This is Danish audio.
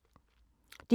DR2